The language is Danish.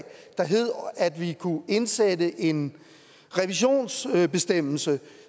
indsætte en revisionsbestemmelse